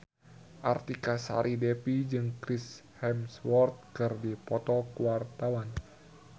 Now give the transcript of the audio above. Artika Sari Devi jeung Chris Hemsworth keur dipoto ku wartawan